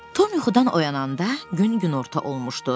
Tom yuxudan oyananda gün günorta olmuşdu.